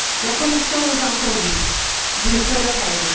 La Commission nous a entendus, mais d'une seule oreille.